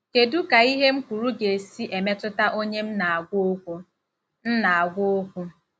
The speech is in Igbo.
Kedu ka ihe m kwuru ga-esi emetụta onye m na-agwa okwu? m na-agwa okwu? '